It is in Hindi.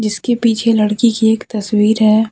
उसके पीछे लड़की की एक तस्वीर है।